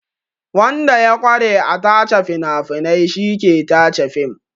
Wanda ya ƙware a tace fina-finai shi ke tace fim.